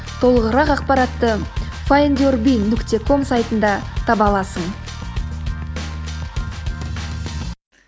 толығырақ ақпаратты файндюрби нүкте ком сайтында таба аласың